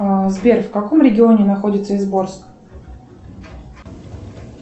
сбер в каком регионе находится изборск